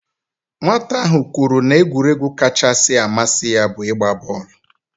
Nwata ahụ kwuru na egwuregwu kachasị amasi ya bu igba booolu